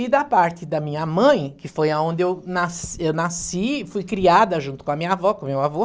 E da parte da minha mãe, que foi a onde eu nas eu nasci, fui criada junto com a minha avó, com o meu avô.